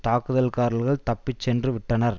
தாக்குதல்காரர்கள் தப்பி சென்றுவிட்டனர்